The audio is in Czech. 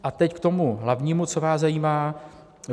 A teď k tomu hlavnímu, co vás zajímá.